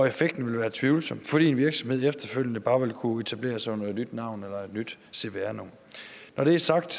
effekten ville være tvivlsom fordi virksomheden efterfølgende bare ville kunne etablere sig under et nyt navn eller et nyt cvr nummer når det er sagt